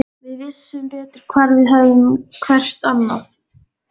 Við vissum betur hvar við hefðum hvert annað.